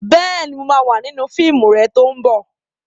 Bẹ́ẹ̀ni, mo ma wà nínú fíìmù rẹ tó ń bọ̀